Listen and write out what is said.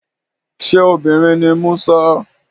Ṣé obìnrin ni Musa?